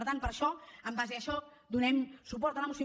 per tant per això en base a això donem suport a la moció